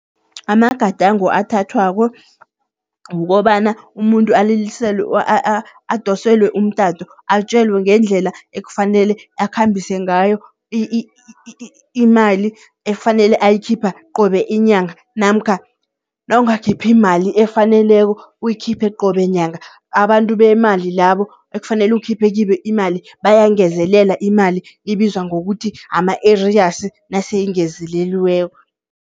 Amagadango athathwako, kukobana umuntu aliliselwe adoselwe umtato, atjelwe ngendlela ekufanele akhambise ngayo imali efanele ayikhipha qobe inyanga. Namkha nawungakhiphi mali efaneleko uyikhiphe qobe nyanga, abantu bemali labo ekufanele ukhiphe kibo imali bayayingezelela imali, ibizwa ngokuthi ama-arrears naseyingezeleliweko.